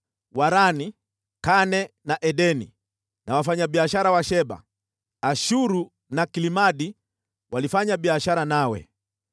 “ ‘Harani, Kane na Edeni na wafanyabiashara wa Sheba, Ashuru na Kilmadi walifanya biashara nawe.